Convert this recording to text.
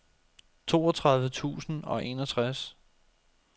toogtredive tusind og enogtres